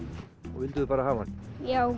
og vildu þið bara hafa hann já